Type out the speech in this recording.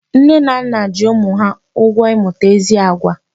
Nne na nna ji ụmụ ha ụgwọ ịmụta ezi àgwà.